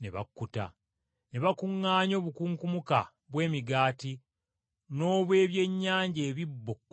Ne bakuŋŋaanya obukunkumuka bw’emigaati n’obw’ebyennyanja ebisero kkumi na bibiri.